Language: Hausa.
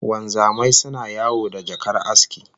Wanzamai suna yawo da jakar aski